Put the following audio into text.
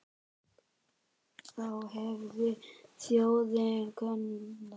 Þá hefði þjóðin koðnað.